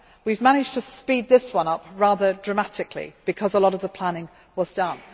up. We have managed to speed this one up rather dramatically, because a lot of the planning was done.